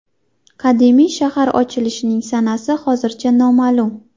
Qadimiy shahar ochilishining sanasi hozircha noma’lum.